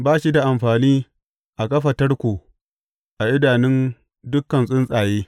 Ba shi da amfani a kafa tarko a idanun dukan tsuntsaye!